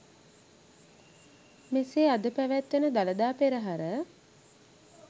මෙසේ අද පැවැත්වෙන දළදා පෙරහර